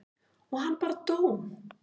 og hann bara dó.